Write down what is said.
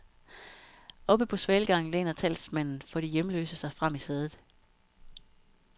Oppe på svalegangen læner talsmanden for de hjemløse sig frem i sædet.